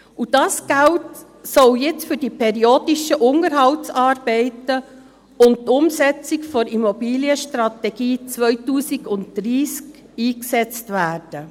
Dieses Geld soll jetzt für periodische Unterhaltsarbeiten und die Umsetzung der Immobilienstrategie 2030 eingesetzt werden.